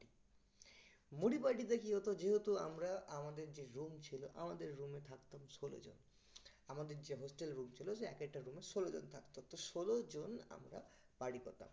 মুড়ি party তে কি হতো যেহেতু আমরা আমাদের যে room ছিল আমাদের room এ থাকতাম ষোলো জন আমাদের যে hostel room ছিল সে এক একটা room এ ষোলো জন থাকতো তো ষোলো জন আমরা party করতাম